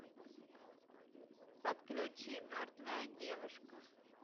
подключи мертвая девушка